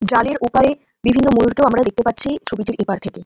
জালের অপারে বিভিন্ন ময়ুর কে আমরা দেখতে পাচ্ছি ছবিটির এপার থেকে।